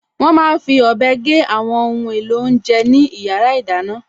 Wọ́n máa n fi ọ̀bẹ gé àwọn ohun èlò oúnjẹ ní yàrá ìdáná